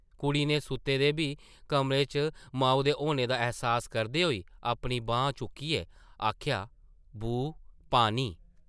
कुड़ी नै सुत्ते दे बी कमरे च माऊ दे होने दा ऐह्सास करदे होई अपनी बांह् चुक्कियै आखेआ, ‘‘बू, पानी ।’’